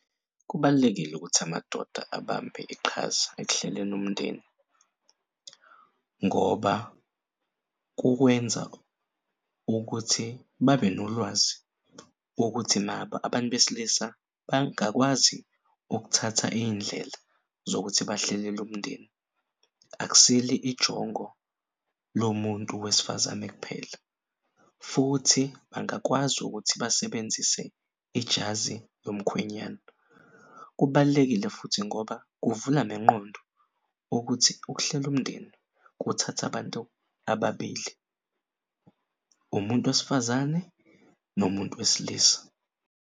Kubalulekile ukuthi amadoda abambe iqhaza ekuhleleni umndeni ngoba kukwenza ukuthi babe nolwazi wokuthi nabo abantu besilisa bangakwazi ukuthatha iy'ndlela zokuthi bahlelel'umndeni. Akusil'ijongo lomuntu wesifazane kuphela futhi bangakwazi ukuthi basebenzise ijazi lomkhwenyana. Kubalulekile futhi ngoba kuvula nengqondo ukuthi ukuhlel'umndeni kuthatha abantu ababili umuntu wesifazane nomuntu wesilisa.